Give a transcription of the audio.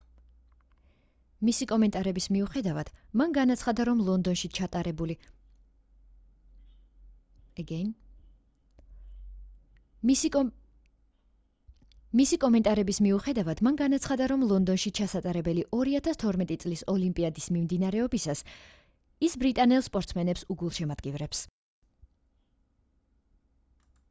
მისი კომენტარების მიუხედავად მან განაცხადა რომ ლონდონში ჩასატარებელი 2012 წლის ოლიმპიადის მიმდინარეობისას ის ბრიტანელ სპორტსმენებს უგულშემატკივრებს